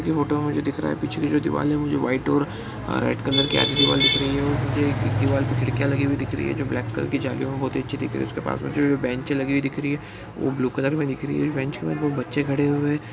ये फोटो में मुझे दिख रहा है पीछे के जो दीवाल है वो मुझे व्हाइट और रेड कलर के आगे दीवाल दिख रही है। और मुझे एक दीवाल पे खिड़किया लगी हुई दिख रही है जो ब्लैक कलर की जालियों मे बहुत ही अच्छी दिख रही है। उसके पास मे जो बेंच लगी हुई दिख रही है वो ब्लू कलर मे दिख रही है। बेंच मे दो बच्चे खड़े हुए--